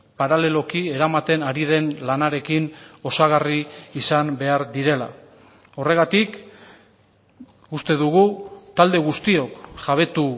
paraleloki eramaten ari den lanarekin osagarri izan behar direla horregatik uste dugu talde guztiok jabetu